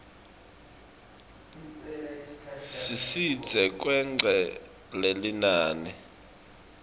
sisidze kwengca lelinani